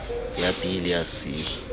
ya b le ya c